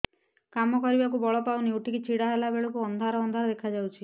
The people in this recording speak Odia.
କାମ କରିବାକୁ ବଳ ପାଉନି ଉଠିକି ଛିଡା ହେଲା ବେଳକୁ ଅନ୍ଧାର ଅନ୍ଧାର ଦେଖା ଯାଉଛି